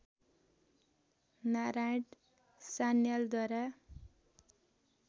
Narayan सान्यालद्वारा